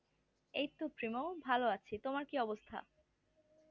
এইতো প্রেমো ভালো আছি তোমার কি অবস্থা